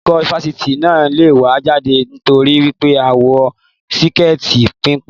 Olùkọ́ Fásitì náà lẹ̀ wá jáde t'ori wípé a wọ síkẹẹti pénpé